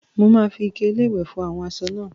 Mo máa fi ike-iléwẹ̀ fọ àwọn aṣọ náà.